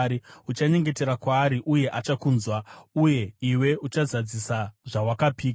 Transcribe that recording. Uchanyengetera kwaari, uye achakunzwa, uye iwe uchazadzisa zvawakapika.